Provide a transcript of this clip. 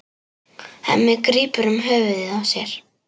Hemmi grípur um höfuð sér.